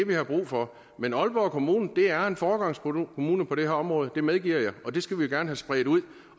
vi har brug for men aalborg kommune er en foregangskommune på det her område det medgiver jeg og det skal vi gerne have spredt ud